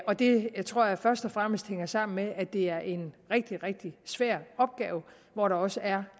og det tror jeg først og fremmest hænger sammen med at det er en rigtig rigtig svær opgave hvor der også er